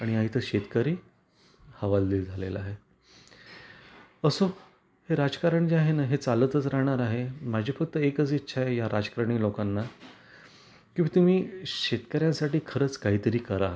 आणि हा इथ शेतकरी हवालदील झालेला आहे. असो ही राजकारण जे आहेना चालतच राहणार आहे. माझी फक्त एकच इच्छा आहे या राजकारणी लोकांना की तुम्ही शेतकर्यांसाठी खरंच काही तरी करा.